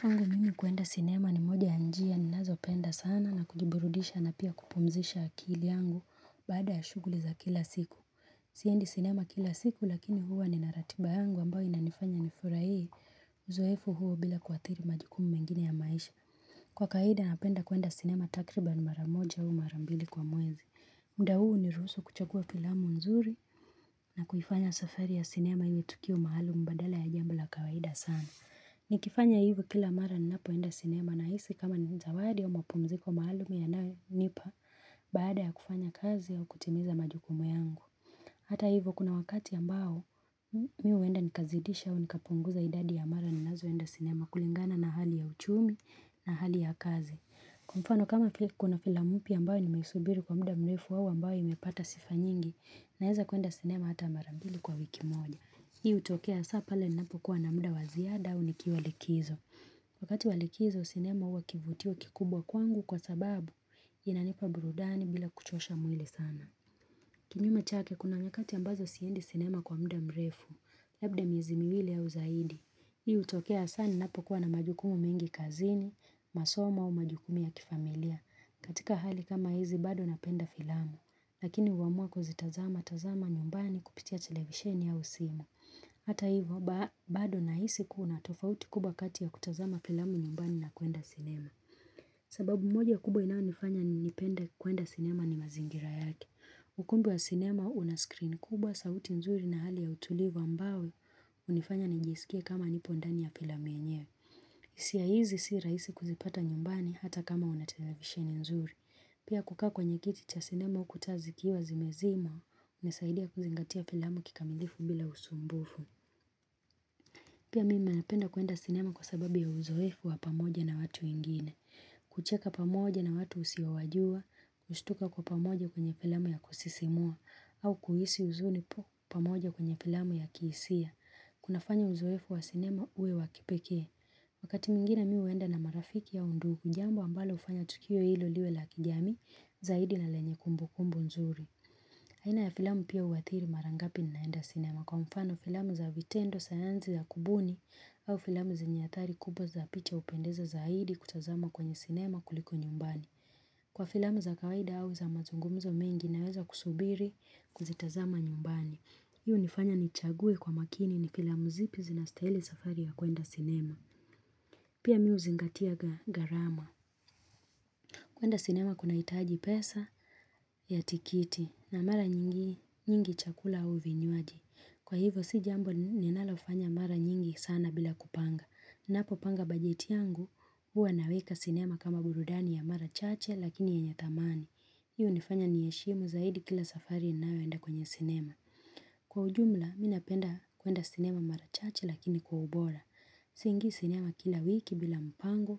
Kwangu mimi kuenda sinema ni moja ya njia ni nazo penda sana na kujiburudisha na pia kupumzisha akili yangu baada ya shughuli za kila siku. Siendi sinema kila siku lakini huwa ni naratiba yangu ambayo inanifanya nifurahie. Uzoefu huo bila kuathiri majukumu mengine ya maisha. Kwa kawaida napenda kuenda sinema takribani maramoja au marambili kwa mwezi. Mda huu huniruhusu kuchagua filamu nzuri na kuifanya safari ya sinema iwe tukio maalumu badala ya jambo kawaida sana. Ni kifanya hivyo kila mara ni napo enda sinema ninahisi kama ni zawadi au mapumziko maalumu yanayonipa Baada ya kufanya kazi au kutimiza majukumu yangu Hata hivyo kuna wakati ambao mimi wenda nikazidisha au nikapunguza idadi ya mara ninazo enda sinema kulingana na hali ya uchumi na hali ya kazi Kwamfano kama kuna filamu mpya ambayo nimeisubiri kwa muda mrefu au ambayo imepata sifa nyingi Naweza kuenda sinema hata marambili kwa wiki moja Hii utokea hasa pale ninapo kuwa na muda wa ziada au nikiwa likizo. Wakati walikizo sinema huwa kivutio kikubwa kwangu kwa sababu inanipa burudani bila kuchosha mwili sana. Kinyume chake kuna nyakati ambazo siendi sinema kwa muda mrefu, labda miezi miwili au zaidi. Hii utokea sana ninapo kuwa na majukumu mengi kazini, masomo au majukumu ya kifamilia. Katika hali kama hizi bado napenda filamu. Lakini uamua kuzitazama tazama nyumbani kupitia televisheni au simu. Hata hivyo, bado ninahisi kuna tofauti kubwa kati ya kutazama filamu nyumbani na kwenda sinema. Sababu moja kubwa inayonifanya nipenda kwenda sinema ni mazingira yake. Ukumbi wa sinema una screen kubwa sauti nzuri na hali ya utulivu ambayo hunifanya nijisikie kama nipo ndani ya filamu yenyewe. Hisia hizi siyo rahisi kuzipata nyumbani hata kama una televisheni nzuri. Pia kukaa kwenye kiti cha sinema uku taa zikiwa zimezimwa hunisaidia kuzingatia filamu kikamirifu bila usumbufu. Pia mimi ninapenda kwenda sinema kwa sababu ya uzoefu wa pamoja na watu wengine kucheka pamoja na watu usiowajua, kushtuka kwa pamoja kwenye filamu ya kusisimua, au kuhisi huzuni pamoja kwenye filamu ya kihisia. Kunafanya uzoefu wa sinema uwe wakipekee. Wakati mwingine mimi huenda na marafiki au ndugu, jambo ambalo hufanya tukio hilo liwe la kijamii zaidi na lenye kumbu kumbu nzuri. Haina ya filamu pia uathiri marangapi ninaenda sinema kwa mfano filamu za vitendo sayansi ya kubuni au filamu zenye athari kubwa za picha upendeza zaidi kutazama kwenye sinema kuliko nyumbani. Kwa filamu za kawaida au za mazungumzo mengi naweza kusubiri kuzitazama nyumbani. Hii hunifanya nichague kwa makini ni filamu zipi zinastahili safari ya kwenda sinema. Pia mimi huzingatia gharama. Kuenda sinema kuna hitaji pesa ya tiketi na mara nyingi chakula au vinywaji. Kwa hivyo si jambo ninalofanya mara nyingi sana bila kupanga. Napo panga bajeti yangu huwa naweka sinema kama burudani ya mara chache lakini yenye thamani. Hii unifanya niheshimu zaidi kila safari ninayoenda kwenye sinema. Kwa ujumla mimi napenda kuenda sinema mara chache lakini kwa ubora. Siingi sinema kila wiki bila mpango,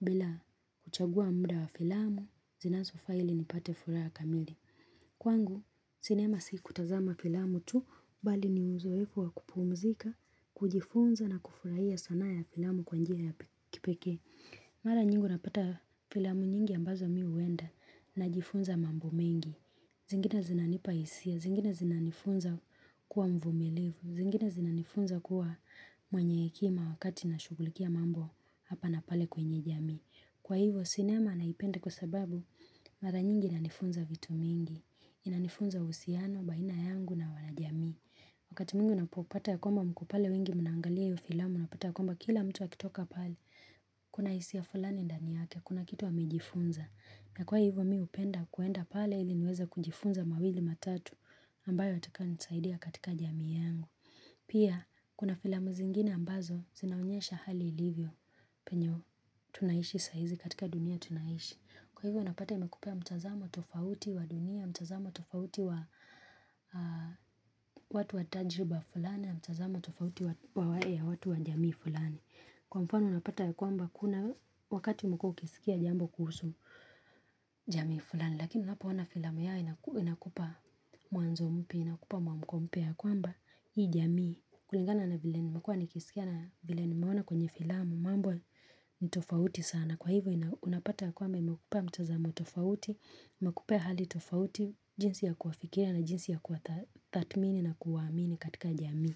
bila kuchagua muda wa filamu, zinazo faa ili nipate furaha ya kamili Kwangu sinema si kutazama filamu tu, bali ni uzoefu wa kupumzika, kujifunza na kufurahia sanaa ya filamu kwanjia ya kipekee Mara nyingi unapata filamu nyingi ambazo mimi huenda najifunza mambo mengi zingine zinanipa hisia, zingine zinanifunza kuwa mvumilivu, zingine zinanifunza kuwa mwenye hekima wakati na shughulikia mambo hapa na pale kwenye jamii. Kwa hivyo sinema naipenda kwa sababu mara nyingi inanifunza vitu mingi, inanifunza uhusiano, baina yangu na wana jamii. Wakati mwingi unapopata ya kwamba mkopale wengi munangalia hiyo filamu, unapata ya kwamba kila mtu akitoka pale, kuna hisia fulani ndaniyake, kuna kitu amejifunza. Na kwa hivyo mimi hupenda kuenda pale ili niweza kujifunza mawili matatu ambayo yatakayo nisaidia katika jamii yangu. Pia kuna filamu zingine ambazo zinaonyesha hali ilivyo penyewe tunaishi saizi katika dunia tunaishi. Kwa hivyo unapata imekupea mtazamo tofauti wa dunia, mtazamo tofauti wa watu wa tajuba fulani, mtazamo tofauti wa wale ya watu wa jamii fulani. Kwa mfano unapata ya kwamba kuna wakati umekuwa ukisikia jambo kuhusu jamii fulani, lakini unapo ona filamu yao inakupa mwanzo mpya, inakupa muamko mpya. Kwamba hii jamii kulingana na vile nimekuwa nikisikia na vile nimeona kwenye filamu mambo ni tofauti sana kwa hivyo unapata kwamba imekupa mtazamo tofauti imekupa hali tofauti jinsi ya kuwafikiria na jinsi ya kuwatathmini na kuwaamini katika jamii.